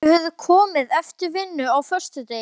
Þau höfðu komið eftir vinnu á föstudegi.